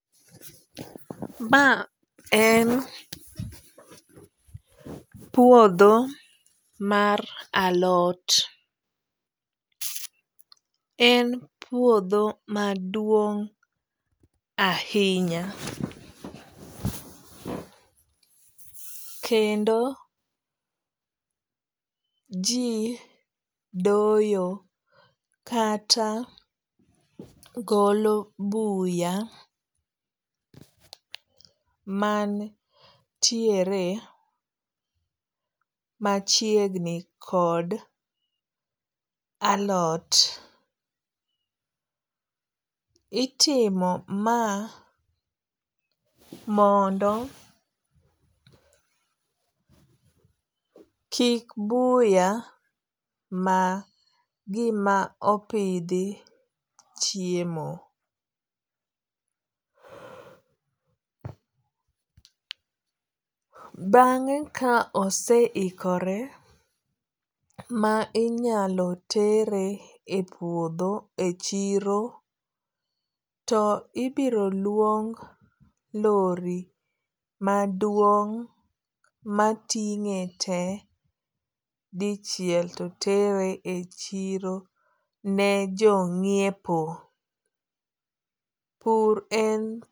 Ma en puodho mar alot. En puodho maduong' ahinya. Kendo ji doyo kata golo buya mantiere machiegni kod alot. Itimo ma mondo kik buya ma gima opidhi chiemo. Bang'e ka ose ikore ma inyalo tere e puodho e chiro to ibiro luong lori maduong' matinge te dichiel to tere e chiro ne jo ng'iepo. Pur en.